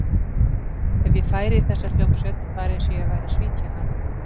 Ef ég færi í þessa hljómsveit, var eins og ég væri að svíkja hana.